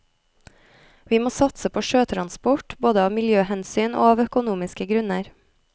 Vi må satse på sjøtransport både av miljøhensyn og av økonomiske grunner.